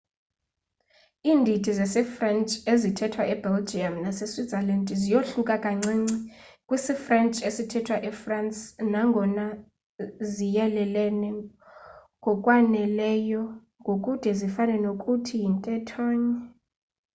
indidi zesifrentshi ezithethwa e belgium nase switzerland ziyohluka kancinci kwisifrentshi esithethwa efrance nangona ziyelelene ngokwaneleyo ngokude zifane nokuthi yintethonye